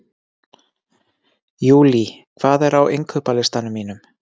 Júlí, hvað er á innkaupalistanum mínum?